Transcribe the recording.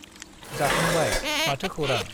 जाखांबाय , माथो खौरां ?